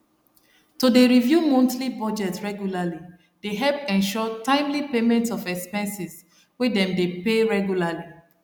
to dey review monthly budgets regularly dey help ensure timely payment of expenses wey them dey pay regularly